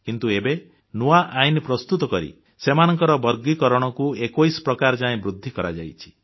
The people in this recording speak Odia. କିନ୍ତୁ ଏବେ ନୂଆ ଆଇନ ପ୍ରସ୍ତୁତ କରି ସେମାନଙ୍କର ବର୍ଗୀକରଣକୁ 21 ପ୍ରକାର ଯାଏ ବୃଦ୍ଧି କରାଯାଇଛି